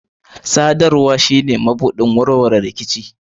Sadarwa shine mabuɗin warwarewan rikici.